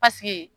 Paseke